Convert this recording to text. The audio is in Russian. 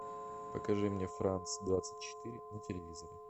покажи мне франс двадцать четыре на телевизоре